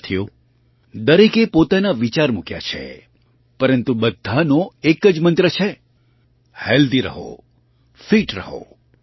સાથીઓ દરેકે પોતાના વિચાર મૂક્યા છે પરંતુ બધાનો એક જ મંત્ર છે હેલ્થી રહો ફિટ રહો